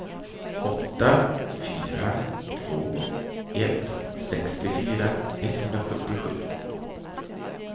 åtta fyra två ett sextiofyra etthundrasjuttiosju